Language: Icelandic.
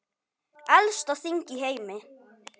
Elsta þing í heimi.